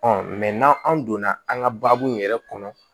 n'an donna an ka baabu yɛrɛ kɔnɔ